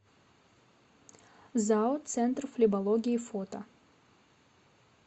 зао центр флебологии фото